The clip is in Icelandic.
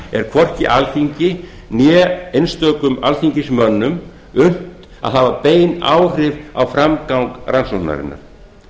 er hvorki alþingi né einstökum alþingismönnum unnt að hafa bein áhrif á framgang rannsóknarinnar